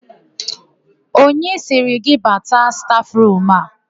Onye sịrị gị bata stafụrumu a?